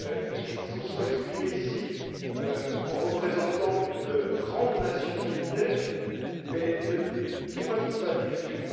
Ils se sont exprimés ici en représentants d'une grande nation militaire, mais il ne faut pas qu'ils se fassent d'illusion.